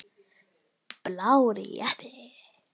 Blár jeppi.